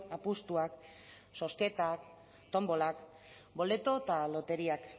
apustuak zozketak tonbolak boleto eta loteriak